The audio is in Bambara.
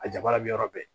A jabaranin yɔrɔ bɛɛ